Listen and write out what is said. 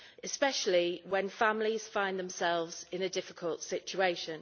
especially when families find themselves in a difficult situation.